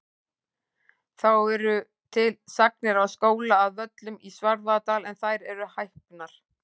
Þá eru til sagnir af skóla að Völlum í Svarfaðardal en þær eru hæpnar.